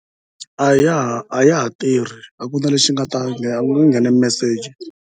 A ya ha a ya ha tirhi a ku na lexi nga ta nghena ku nghene meseji.